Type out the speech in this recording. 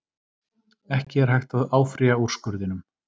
Ekki er hægt að áfrýja úrskurðinum